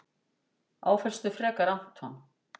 Áfellstu frekar Anton.